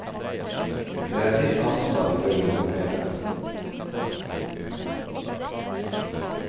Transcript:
Det er ditt ansvar å gjøre noe med det.